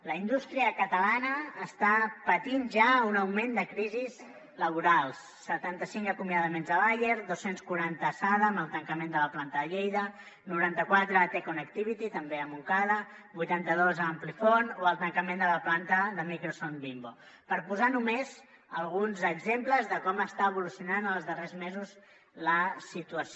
la indústria catalana està patint ja un augment de crisis laborals setanta cinc acomiadaments a bayer dos cents i quaranta a sada amb el tancament de la planta de lleida noranta quatre a te connectivity també a montcada vuitanta dos a amplifon o el tancament de la planta de microson bimbo per posar només alguns exemples de com està evolucionant en els darrers mesos la situació